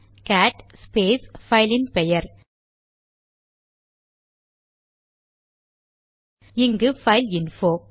gate space பைலின் பெயர் இங்கு பைல்இன்போ